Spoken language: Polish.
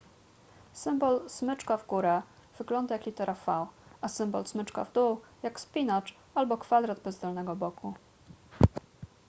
symbol smyczka w górę wygląda jak litera v a symbol smyczka w dół jak spinacz albo kwadrat bez dolnego boku